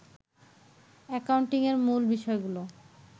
অ্যাকাউন্টিংয়ের মূল বিষয়গুলো